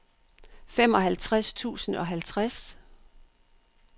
femoghalvtreds tusind og halvtreds